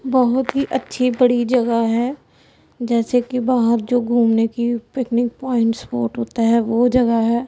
बहोत ही अच्छी बड़ी जगह है जैसे कि बाहर जो घूमने की पिकनिक पॉइंट्स स्पॉट होता है वो जगह है।